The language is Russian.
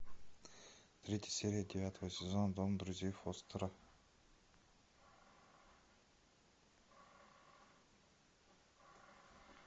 третья серия девятого сезона дом друзей фостера